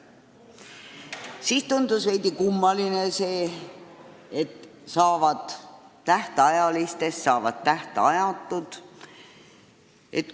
Siis tundus veidi kummaline, et tähtajalistest lepingutest saavad tähtajatud.